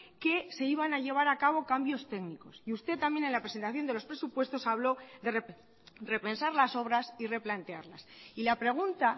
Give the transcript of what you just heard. que se iban a llevar a cabo cambios técnicos y usted también en la presentación de los presupuestos habló de repensar las obras y replantearlas y la pregunta